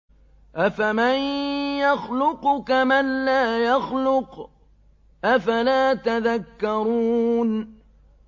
أَفَمَن يَخْلُقُ كَمَن لَّا يَخْلُقُ ۗ أَفَلَا تَذَكَّرُونَ